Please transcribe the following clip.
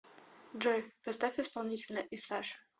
джой поставь исполнителя исаша